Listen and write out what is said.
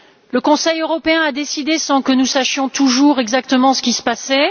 Le Conseil européen a décidé sans que nous sachions toujours exactement ce qui se passait.